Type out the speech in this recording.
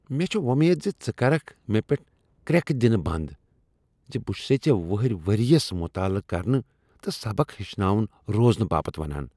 مےٚ چھےٚامید ژٕ کرکھ مےٚ پیٹھ کریکہ دِنیہ بندزِ بہ چھُسے ژےٚ وُہرۍ ورۍ یس مطالعہ کرنہ تہ سبق ہیچھان روزنہ باپت ونان۔